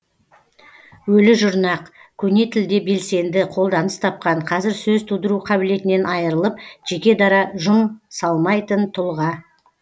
өлі жұрнақ көне тілде белсенді қолданыс тапқан қазір сөз тудыру қабілетінен айырылып жеке дара жұм салмайтын тұлға